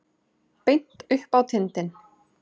Beint upp á tindinn.